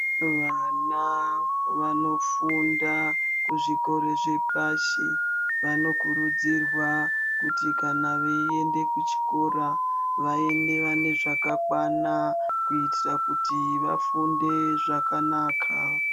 Vana vanofunda kuzvikora zvepashi vanokurudzirwa kuti kana veinde kuchikora vaende vainezvakakwana kuitira kuti vafunde zvakanaka.